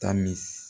Taa mi